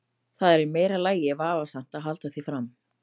Það er í meira lagi vafasamt að halda því fram.